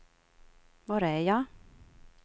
var är jag